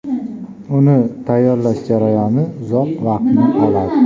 Uni tayyorlash jarayoni uzoq vaqtni oladi.